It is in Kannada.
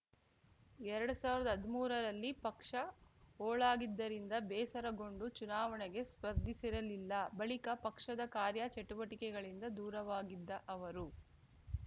ಎರಡ್ ಸಾವಿರ್ದಾ ಹದ್ಮೂರರಲ್ಲಿ ಪಕ್ಷ ಹೋಳಾಗಿದ್ದರಿಂದ ಬೇಸರಗೊಂಡು ಚುನಾವಣೆಗೆ ಸ್ಪರ್ಧಿಸಿರಲಿಲ್ಲ ಬಳಿಕ ಪಕ್ಷದ ಕಾರ್ಯಚಟುವಟಿಕೆಗಳಿಂದ ದೂರವಾಗಿದ್ದ ಅವರು